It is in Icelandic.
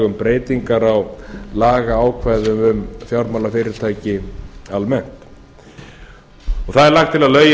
um breytingar á lagaákvæðum um fjármálafyrirtæki almennt það er lagt til að lögin